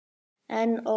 En ók.